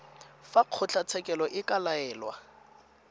fa kgotlatshekelo e ka laela